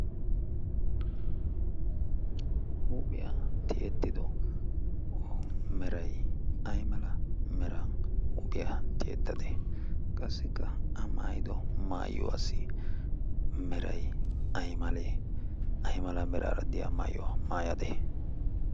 huuphiyaa tiyettido merai ai mala mera huuphiyaa tiyettade? qassikka a maayido maayuwaasi merai aimalee? aimala meraaraddiyaa maayyuwaa maayade?